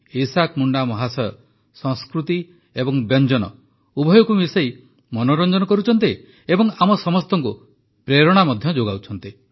Isaac Munda ମହାଶୟ ସଂସ୍କୃତି ଏବଂ ବ୍ୟଞ୍ଜନ ଉଭୟକୁ ମିଶାଇ ମନୋରଞ୍ଜନ କରୁଛନ୍ତି ଏବଂ ଆମ ସମସ୍ତଙ୍କୁ ପ୍ରେରଣା ମଧ୍ୟ ଯୋଗାଉଛନ୍ତି